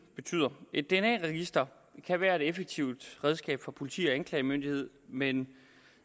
betyder et dna register kan være et effektivt redskab for politi og anklagemyndighed men